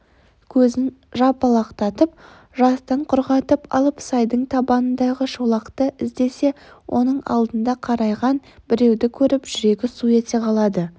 көзін жыпылықтатып жастан құрғатып алып сайдың табанындағы шолақты іздесе оның алдында қарайған біреуді көріп жүрегі су ете қалады